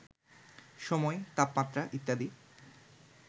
সময়, তাপমাত্রা ইত্যাদি